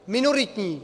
Minoritní!